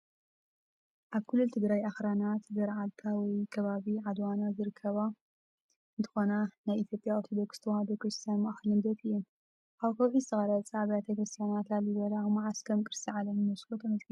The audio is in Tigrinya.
ኣብ ክልል ትግራይ ኣኽራናት ገርዓልታ ወይ ከባቢ ዓድዋና ዝርከባ እንትኾና ናይ ኢትዮጵያ ኦርቶዶክስ ተዋህዶ ክርስትያን ማእኸል ንግደት እየን። ኣብ ከውሒ ዝተቖርጻ ኣብያተ ክርስቲያናት ላሊበላ መዓስ ከም ቅርሲ ዓለም ዩኔስኮ ተመዝጊበን?